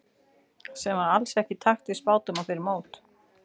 Sem var alls ekki í takt við spádóma fyrir mót.